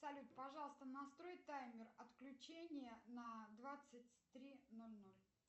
салют пожалуйста настрой таймер отключения на двадцать три ноль ноль